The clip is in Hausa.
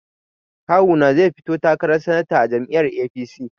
Kawuna zai fito takarar sanata a jam'iyyar APC.